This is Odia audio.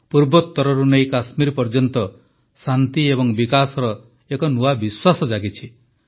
ପୂର୍ବୋତ୍ତରରୁ ନେଇ କାଶ୍ମୀର ପର୍ଯ୍ୟନ୍ତ ଶାନ୍ତି ଓ ବିକାଶର ଏକ ନୂଆ ବିଶ୍ୱାସ ଜାଗିଛି